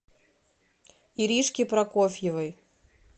иришке прокофьевой